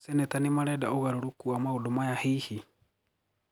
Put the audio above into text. Maseneta nimarenda ũgarũrũku wa maũndu maya hihi!